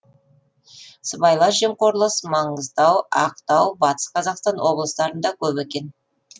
сыбайлас жемқорлық маңғыстау ақтау батыс қазақстан облыстарында көп екен